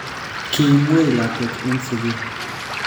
Kimwei lakwet eng sugul